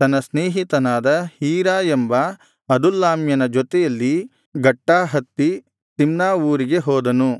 ತನ್ನ ಸ್ನೇಹಿತನಾದ ಹೀರಾ ಎಂಬ ಅದುಲ್ಲಾಮ್ಯನ ಜೊತೆಯಲ್ಲಿ ಗಟ್ಟಾ ಹತ್ತಿ ತಿಮ್ನಾ ಊರಿಗೆ ಹೋದನು